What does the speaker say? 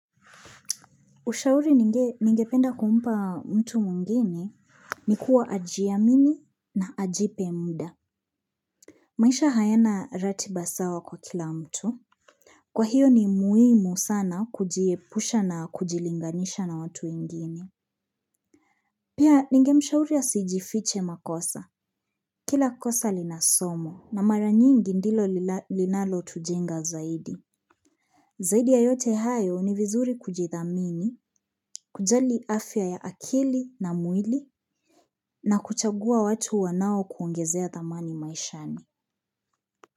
Ushauri ningependa kumpa mtu mwngine ni kuwa ajiamini na ajipe muda. Maisha hayana ratiba sawa kwa kila mtu. Kwa hiyo, ni muhimu sana kujiepusha na kujilinganisha na watu wengine. Pia, ningemshauri asijifiche makosa. Kila kosa lina somo na mara nyingi ndilo linalotujenga zaidi. Zaidi ya yote hayo ni vizuri kujidhamini, kujali afya ya akili na mwili. Na kuchagua watu wanao kuongezea thamani maishani.